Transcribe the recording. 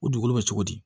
U dugukolo bɛ cogo di